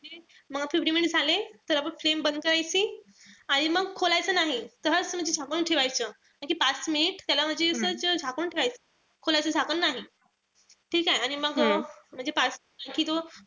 म fifteen minutes झाले त आपण flame बंद करायची. आणि मग खोलायचं नाही. तसच म्हणजे झाकून ठेवायचं. म्हणजे पाच minutes त्याला म्हणजे झाकून ठेवायचं. खोलाच झाकण नाही. ठीकेय? आणि मग झाला कि तो,